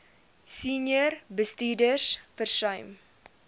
senior bestuurders versuim